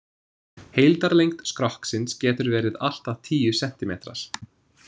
Heildarlengd skrokksins, getur verið allt að tíu sentímetrar.